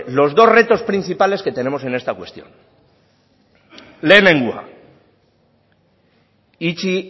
los dos retos principales que tenemos en esta cuestión lehenengoa itxi